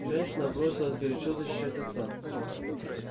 женщина бросилась горячо защищать отца